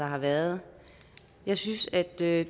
har været jeg synes at det